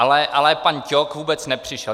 Ale pan Ťok vůbec nepřišel.